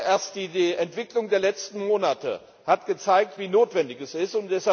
Erst die Entwicklung der letzten Monate hat gezeigt, wie notwendig dies ist.